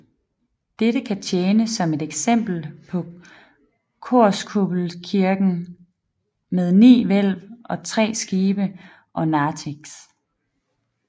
Dette kan tjene som et eksempel på korskuppelkirken med ni hvælv og tre skibe og narthex